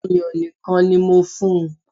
Ọ̀yàn nìkan ni mo fún un